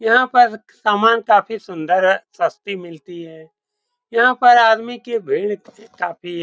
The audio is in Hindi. यहाँ पर सामान काफी सुन्दर है सस्ती मिलती है यहाँ पर आदमी की भीड़ काफी है।